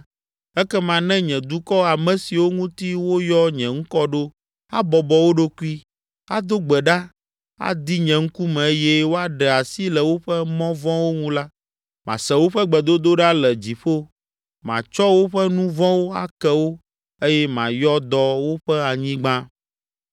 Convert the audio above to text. ekema ne nye dukɔ, ame siwo ŋuti woyɔ nye ŋkɔ ɖo abɔbɔ wo ɖokui, ado gbe ɖa, adi nye ŋkume eye woaɖe asi le woƒe mɔ vɔ̃wo ŋu la, mase woƒe gbedodoɖa le dziƒo, matsɔ woƒe nu vɔ̃wo ake wo eye mayɔ dɔ woƒe anyigba.